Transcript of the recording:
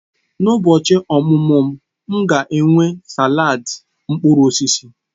N'ụbochi ọmụmụ m, m ga-enwe salad mkpụrụ osisi.